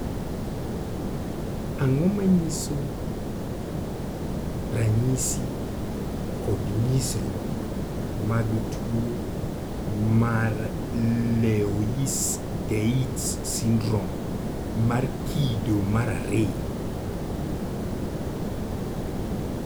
Ang'o ma nyiso ranyisi kod nyisruok mag tuo mar Loeys Dietz syndrome mar kido mar ariyo?